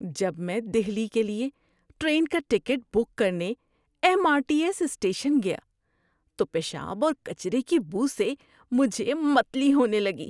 جب میں دہلی کے لیے ٹرین کا ٹکٹ بک کرنے M R T S station گیا تو پیشاب اور کچرے کی بو سے مجھے متلی ہونے لگی۔